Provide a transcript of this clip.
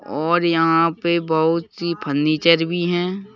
और यहाँ पे बहुत सी फर्नीचर भी हैं।